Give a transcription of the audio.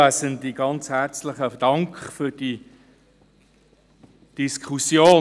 Ganz herzlichen Dank für diese Diskussion.